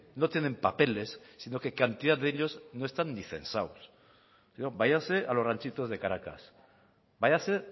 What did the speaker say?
no tienen papeles sino que cantidad de ellos no están ni censados váyase a los ranchitos de caracas váyase